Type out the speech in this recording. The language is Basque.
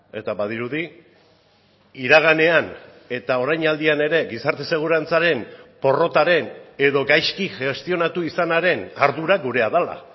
eta badirudi iraganean eta orainaldian ere gizarte segurantzaren porrotaren edo gaizki gestionatu izanaren ardura gurea dela